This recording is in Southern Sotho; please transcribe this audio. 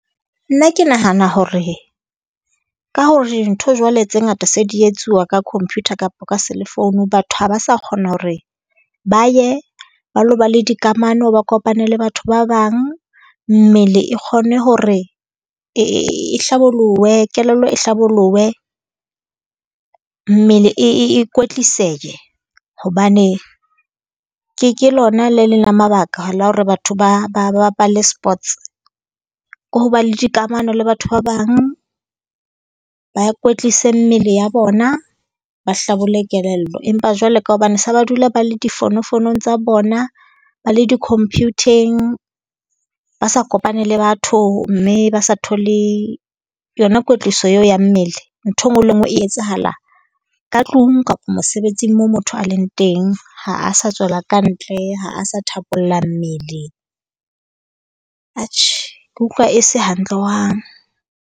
Nna ke nahana hore ka hore ntho jwale tse ngata se di etsuwa ka computer kapa ka selefounu, batho ha ba sa kgona hore ba ye ba ilo ba le dikamano, ba kopane le batho ba bang. Mmele e kgone hore e hlabolohe, kelello e hlabolohe. Mmele e e e kwetlisehe, hobane ke ke lona le leng la mabaka la hore batho ba ba bapale sports. Ko ho ba le dikamano le batho ba bang, ba kwetlise mmele ya bona. Ba hlabolle kelello. Empa jwale ka hobane se ba dula ba le di fonofonong tsa bona, ba le di-computer-eng, ba sa kopane le batho mme ba sa thole yona kwetliso eo ya mmele. Ntho e nngwe le e nngwe e etsahala ka tlung kapa mosebetsing moo motho a leng teng. Ha a sa tswela kantle, ha a sa thapolla mmele. Atjhe, ke utlwa e se hantle hohang.